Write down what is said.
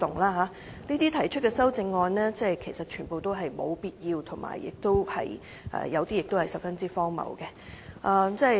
他們提出的修正案全都沒有必要，有些還十分荒謬。